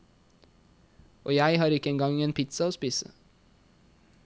Og jeg har ikke en gang en pizza å spise.